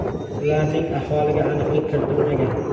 Ularning ahvoliga aniqlik kiritilmagan.